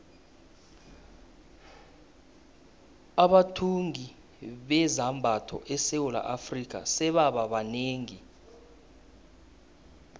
abathungi bezambatho esewula afrika sebaba banengi